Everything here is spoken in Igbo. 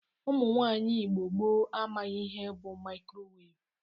Ụmụnwaanyị Igbo gboo amaghị ihe bụ mikrowevu.